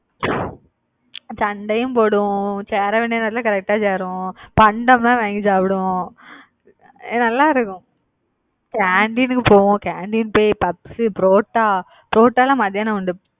சண்டையும் போடுவோம் சேர வேண்டிய நேரத்துல correct ஆ சேருவோம் பண்டமா வாங்கி சாப்பிடுவோம் நல்லா இருக்கும் canteen க்கு போவோம். canteen போய் பப்ஸ், புரோட்டா, புரோட்டால மத்தியானம் உண்டு.